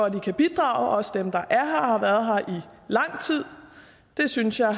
at de kan bidrage også dem der er her og har været her lang tid det synes jeg og